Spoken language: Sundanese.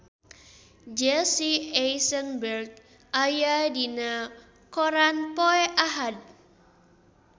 Jesse Eisenberg aya dina koran poe Ahad